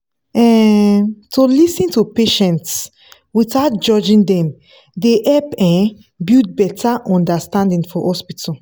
um to lis ten to patients without judging dem dey help um build better understanding for hospital.